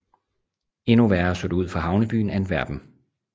Endnu værre så det ud for havnebyen Antwerpen